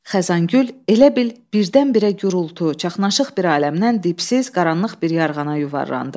Xəzan Gül elə bil birdən-birə gurultu, çaxnaşıq bir aləmdən dipsiz qaranlıq bir yarğana yuvarlandı.